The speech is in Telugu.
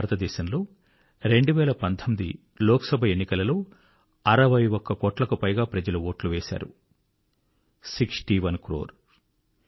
భారతదేశములో 2019 లోక్ సభ ఎన్నికలలో 61 కోట్లకు పైగా ప్రజలు వోటు వేశారు సిక్స్టీ ఓనే క్రోర్